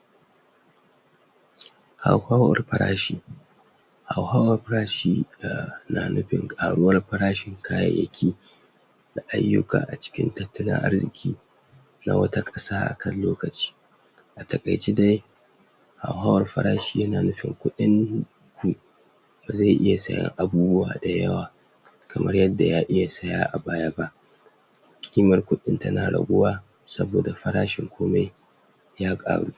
? hauhawar parashi hauhawar parashi um na nupin ƙaruwar parashin kayayyaki da ayyuka a cikin tattalin arziki na wata ƙasa akan lokaci a taƙaice de hauhawar farashi yana nufin kuɗinku ba ze iya siyan abubuwa dayawa kamar yadda ya iya siya a baya ba ƙimar kuɗin tana raguwa saboda farashin komai ya ƙaru?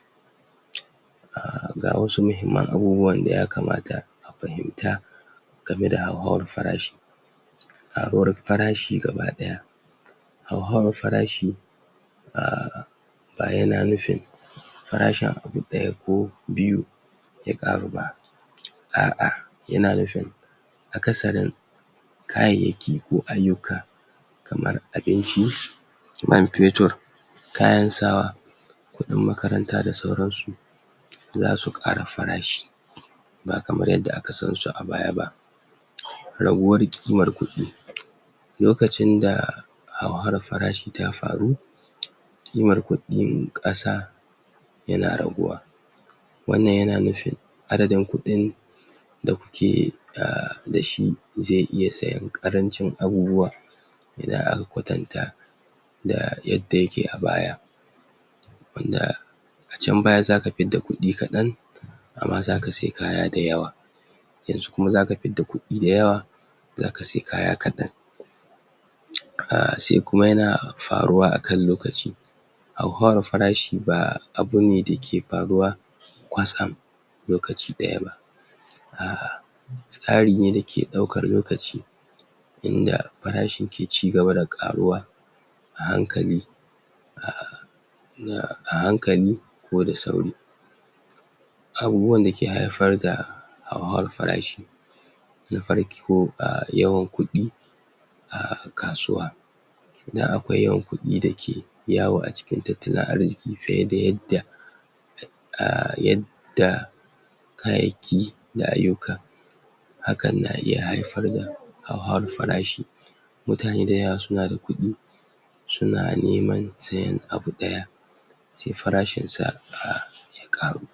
um ga wasu mahimman abubuwan da yakamata a pahimta game da hauhawar parashi hauhawar parashi gaba ɗaya hauhawar farashi um ba yana nufin farashin abu ɗaya ko biyu ya ƙaru ba? a'a yana nufin akasarin kayayyaki ko ayyuka kamar abinci man petur kayan sawa kuɗin makaranta da sauransu zasu ƙara farashi ba kamar yadda aka sansu a baya ba? raguwar ƙimar kuɗi? lokacin da hauhawar farashi ta faru? ƙimar kuɗɗin ƙasa yana raguwa wannan yana nufin adadin kuɗin da kuke um dashi ze iya siyan ƙarancin abubuwa idan aka kwatanta da yadda yake a baya wanda a can baya zaka pidda kuɗi kaɗan amma zaka sai kaya da yawa yanzu kuma zaka pidda kuɗi dayawa zaka sai kaya kaɗan? um sai kuma yana faruwa akan lokaci hauhawar farashi ba abu ne dake paruwa kwatsam lokaci ɗaya ba a'a tsari ne dake ɗaukar lokaci inda parashin ke cigaba da ƙaruwa a hankali um um a hankali ko da sauri abubuwan dake haifar da hauhawar farashi na farko um yawan kuɗi a kasuwa idan akwai yawan kuɗi dake yawo a cikin tattalin arziki fiye da yadda um yadda kayayyaki na ayyuka hakan na iya haifar da hauhawar farashi mutane dayawa suna da kuɗi suna neman sayan abu ɗaya se farashin sa um ya ƙaru